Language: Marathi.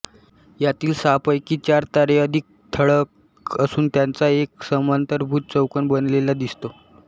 यांतील सहांपैकी चार तारे अधिक ठळक असून त्यांचा एक समांतरभुज चौकोन बनलेला दिसतो